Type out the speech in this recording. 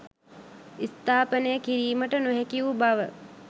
ස්ථාපනය කිරීමට නොහැකිවූ බව